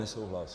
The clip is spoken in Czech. Nesouhlas.